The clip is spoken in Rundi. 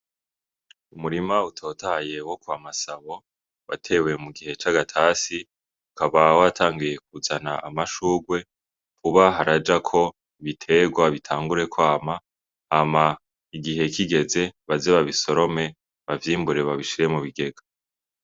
Umurima utotahaye wo kwa Masabo watewe mu gihe c'agatasi, ukaba watanguye kuzana amashugwe, vuba harajako ibiterwa bitangure kwama, hama igihe kigeze baze babisorome ,bavyimbure bashishire mu kigega.